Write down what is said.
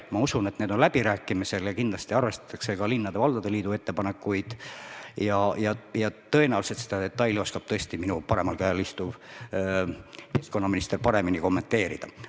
Ma usun, et need on läbirääkimisel ja kindlasti arvestatakse ka linnade ja valdade liidu ettepanekuid ja tõenäoliselt oskab seda detaili minu paremal käel istuv keskkonnaminister paremini kommenteerida.